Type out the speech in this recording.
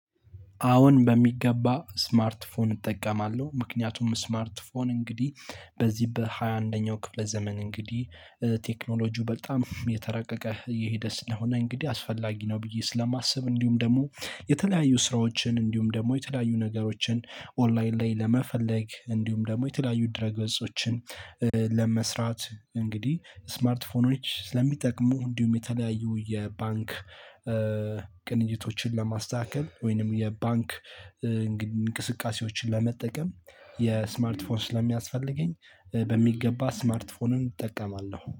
አሁን በሚገባ ስማርት ፎን እጠቀማለሁ ምክንያቱም ስማርት ፎን እንግዲህ በዚህ በሃያ አንደኛው ክፍለ ዘመን እንግዲህ ቴክኖሎጂው በጣም እየተራቀቀ እየሄደ ስለሆነ እንግዲህ አስፈላጊ ነው ብዬ ስለማስብ። እንዲሁም ደግሞ የተለያዩ ስራዎችን እንዲሁም ደግሞ የተለያዩ ነገሮችን ኦንላይን ላይ ለመፈለግ እንዲሁም ደግሞ የተለያዩ ድረገጾችን ለመስራት እንግዲህ ስማርት ፎኖች ስለሚጠቅሙ እንዲሁም የተለያዩ የባንክ ቅንጅቶችን ለማስተካከል ወይንም የባንክ እንቅስቃሴዎችን ለመጠቀም የስማርት ፎን ስለሚያስፈልገኝ በሚገባ ስማርት ስማርት ፎንም እጠቀማለሁ